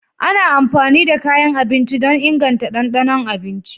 Ana amfani da kayan abinci don inganta ɗanɗanon abinci.